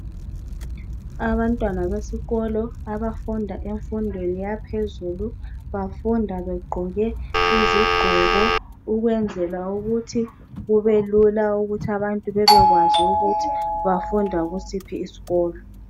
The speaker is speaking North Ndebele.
Abantwana besikolo abafunda emfundweni yaphezulu bafunda begqoke izingqoko ukwenzela ukuthi kubelula ukuthi abantu bebekwazi ukuthi bafunda kusiphi isikolo